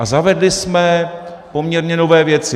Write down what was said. A zavedli jsme poměrně nové věci.